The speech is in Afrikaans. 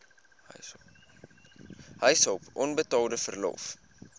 huishulp onbetaalde verlof